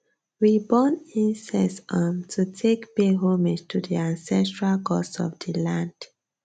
we burn incense um to take pay homage to di ancestral gods of di land